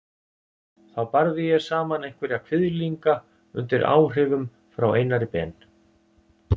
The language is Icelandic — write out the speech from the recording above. Þá barði ég saman einhverja kviðlinga undir áhrifum frá Einari Ben.